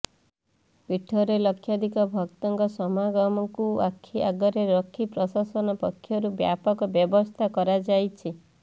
ପୀଠରେ ଲକ୍ଷାଧିକ ଭକ୍ତଙ୍କ ସମାଗମକୁ ଆଖି ଆଗରେ ରଖି ପ୍ରଶାସନ ପକ୍ଷରୁ ବ୍ୟାପକ ବ୍ୟବସ୍ଥା କରାଯାଇଛି